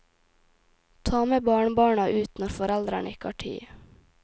Ta med barnebarna ut når foreldrene ikke har tid.